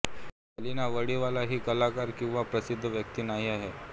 अलीना वाडीवाला ही कलाकार किंवा प्रसिद्ध व्यक्ती नाही आहे